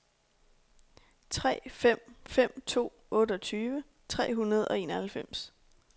tre fem fem to otteogtyve tre hundrede og enoghalvfems